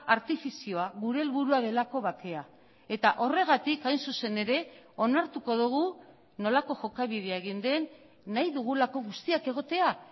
artifizioa gure helburua delako bakea eta horregatik hain zuzen ere onartuko dugu nolako jokabidea egin den nahi dugulako guztiak egotea